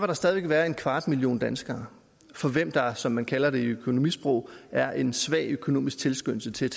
der stadig væk være en kvart million danskere for hvem der som man kalder det i økonomisprog er en svag økonomisk tilskyndelse til